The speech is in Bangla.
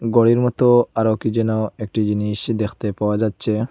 ঘড়ির মতো আরো কি যেন একটি জিনিস দেখতে পাওয়া যাচ্ছে।